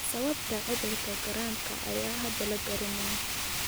Sababta cudurka Gorhamka ayaan hadda la garanayn.